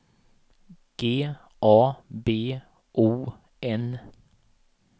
G A B O N